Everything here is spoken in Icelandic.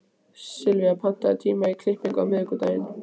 Sylvía, pantaðu tíma í klippingu á miðvikudaginn.